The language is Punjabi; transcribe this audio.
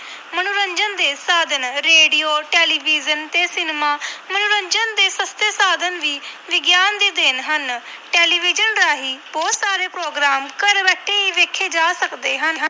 ਮਨੋਰੰਜਨ ਦੇ ਸਾਧਨ ਰੇਡੀਓ, ਟੈਲੀਵਜ਼ਨ ਤੇ ਸਿਨੇਮਾ ਮਨੋਰੰਜਨ ਦੇ ਸਸਤੇ ਸਾਧਨ ਵੀ ਵਿਗਿਆਨ ਦੀ ਦੇਣ ਹਨ, ਟੈਲੀਵਿਜ਼ਨ ਰਾਹੀਂ ਬਹੁਤ ਸਾਰੇ program ਘਰ ਬੈਠੇ ਹੀ ਵੇਖੇ ਜਾ ਸਕਦੇ ਹਨ।